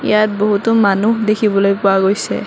ইয়াত বহুতো মানুহ দেখিবলৈ পোৱা গৈছে।